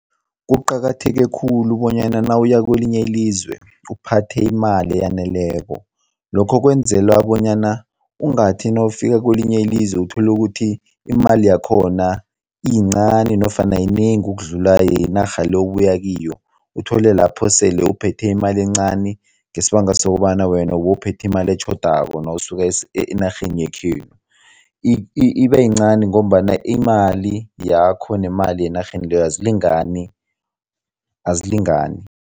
Kuqakatheke khulu bonyana nawuya kwelinye ilizwe uphathe imali eyaneleko, lokho kwenzela bonyana ungathi nawufika kwelinye ilizwe uthole ukuthi imali yakhona yincani nofana yinengi ukudlula yenarha le obuya kiyo. Uthole lapho sele uphethe imali encani ngesibanga sokobana wena bowuphethe imali etjhodako nawusuka enarheni yekhenu, ibeyincani ngombana imali yakho nemali enarheni leyo azilingani, azilingani.